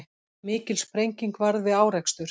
Mikil sprenging varð við árekstur